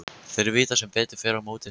Þeir vita sem betur fer mót suðri.